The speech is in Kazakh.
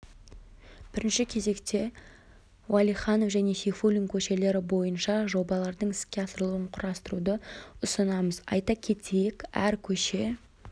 бірінші кезекте уәлиіанов және сейфуллин көшелері бойынша жобалардың іске асырылуын қарастыруды ұсынамыз айта кетейік әр көше